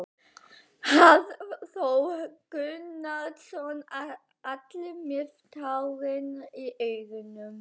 Hafþór Gunnarsson: Allir með tárin í augunum?